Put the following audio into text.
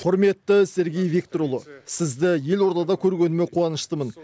құрметті сергей викторұлы сізді елордада көргеніме қуаныштымын